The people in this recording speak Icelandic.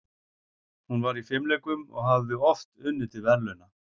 Hún var í fimleikum og hafði oft unnið til verðlauna.